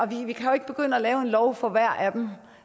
vi kan jo ikke begynde at lave en lov for hver af dem